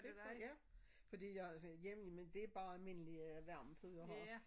Det kunne ja? Fordi jeg har sådan en hjemme men det bare almindelig øh varmepude jeg har